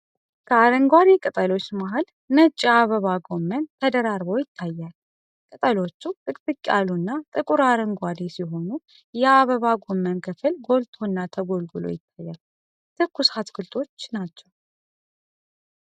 ከአረንጓዴ ቅጠሎች መሃል ነጭ የአበባ ጎመን ተደራርቦ ይታያል። ቅጠሎቹ ጥቅጥቅ ያሉና ጥቁር አረንጓዴ ሲሆኑ፣ የአበባ ጎመኑ ክፍል ጎልቶና ተጎልጉሎ ይታያል። ትኩስ አትክልቶች ናቸው።